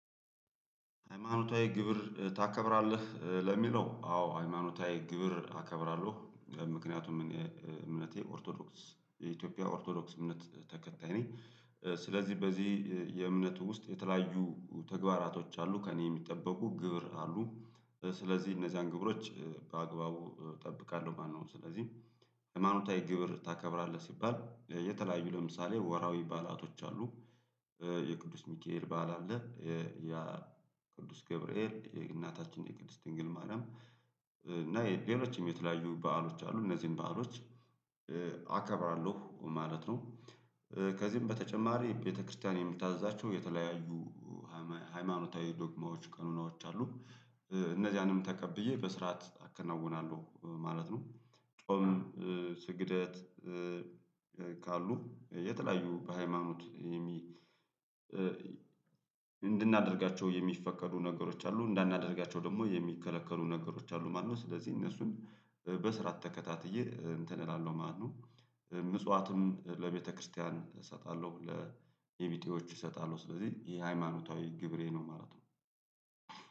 ሃይማኖታዊ ክብር ታከብራለህ ለሚለው አዎ ሃይማኖታዊ ክብር አከብራለሁ ምክንያቱም እምነቴ ኦርቶዶክስ የኢትዮጵያ ኦርቶዶክስ እምነት ተከታይ ነኝ ስለዚህ በዚህ የእምነቱ ውስጥ የተለያዩ ተግባራቶች አሉ ከእኔ የሚጠበቁ ግብር አሉ ስለዚህ እነዚያን ግብሮች በአግባቡ እጠብቃለሁ ማነው ስለዚህ ሃይማኖታዊ ክብር ታከብራለህ? ሲባል የተለያዩ ለምሳሌ ወራዊ ባላቶች አሉ የቅዱስ ሚካኤል በዓል አለ የቅዱስ ቅዱስ ገብርኤል የእናታችን የቅድስት ድንግል ማርያም እና የሌሎችም የተለያዩ በዓሎች አሉ እነዚህን በዓሎች አከብራለሁ ማለት ነው። ከዚህም በተጨማሪ ቤተክርስቲያን የምታዛቸው የተለያዩ ሃይማኖታዊ ዶግማዎች ቀኖናዎች አሉ እነዚያንም ተቀብዬ በስርዓት አከናውናለሁ ማለት ነው። ጾም ስግደት ካሉ የተለያዩ በሃይማኖት እንድናደርጋቸው የሚፈቀዱ ነገሮች አሉ እንዳናደርጋቸው ደግሞ የሚከለከሉ ነገሮች አሉ ማለት ነው። ስለዚህ እነሱን በስርዓት ተከታትዬ እንትን እላለሁ ማነው ምጽዋትም ለቤተክርስቲያን እሰጣለሁ ለእኔ ቢጤዎች እሰጣሉ ስለዚህ ይሄ ሃይማኖታዊ ግብሬ ነው ማለት ነው።